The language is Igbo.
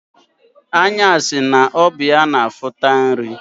Anya si na ọ bụ ya na-afụta nri.